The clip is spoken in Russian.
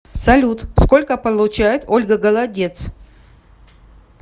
салют сколько получает ольга голодец